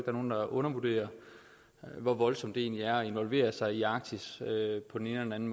er nogen der undervurderer hvor voldsomt det egentlig er at involvere sig i arktis på den ene eller den